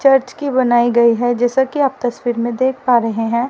Church की बनाई गई है जैसा कि आप तस्वीर में देख पा रहे हैं।